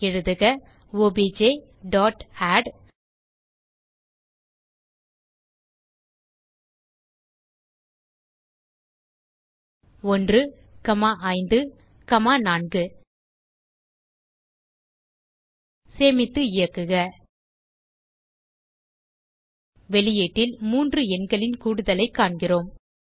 எழுதுக obj dot add 1 comma 5 comma 4 சேமித்து இயக்குக வெளியீட்டில் 3 எண்களின் கூடுதலைக் காண்கிறோம்